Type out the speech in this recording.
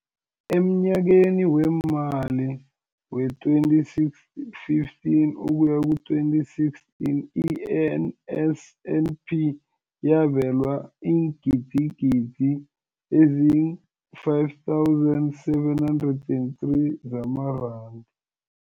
Emnyakeni weemali we-2015 ukuya ku-2016, i-NSNP yabelwa iingidigidi ezi-5 703 zamaranda.